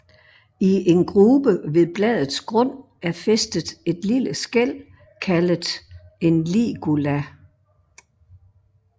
I en grube ved bladets grund er fæstet et lille skæl kaldet en ligula